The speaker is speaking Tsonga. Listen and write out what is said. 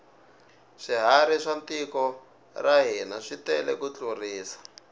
swiharhi swa tiko ra hina switele ku tlurisa